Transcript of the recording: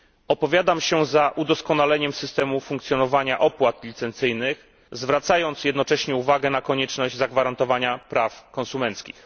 Opowiadam się za udoskonaleniem systemu funkcjonowania opłat licencyjnych, zwracając jednocześnie uwagę na konieczność zagwarantowania praw konsumenckich.